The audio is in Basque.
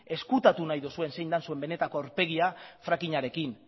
ezkutatu nahi duzue zein dan zuen benetako aurpegia frackingarekin